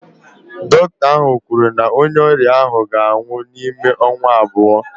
Dọkịta ahụ kwuru na onye ọrịa ahụ ga-anwụ n'ime ọnwa abụọ